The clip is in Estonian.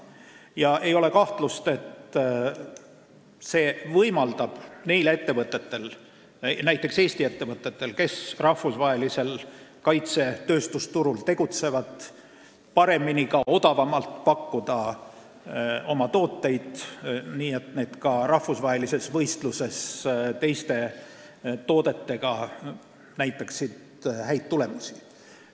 Ja ei ole kahtlust, et see võimaldab ettevõtetel, näiteks Eesti ettevõtetel, kes tegutsevad rahvusvahelisel kaitsetööstusturul, paremini ja ka odavamalt pakkuda oma tooteid, nii et need näitaksid ka rahvusvahelises võistluses teiste toodetega häid tulemusi.